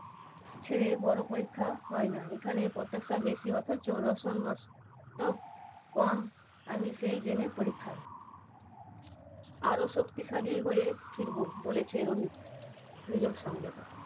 ছেড়ে বড় পরীক্ষা হয় না এখানে প্রত্যেকটা বেশি অথচ আমি সেই জেনে পরীক্ষা। আরো শক্তিশালী হয়ে ফিরবো বলেছে রোহিত নিজস্ব সংবাদদাতা।